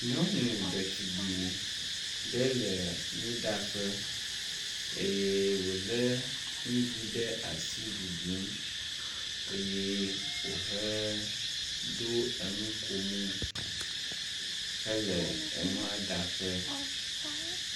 Nyɔnu ɖetugbi ɖe le nuɖaƒe eye wo le nuɖu ɖe asi ɖuɖu eye wohe ɖo enukomo hele enuaɖaƒe.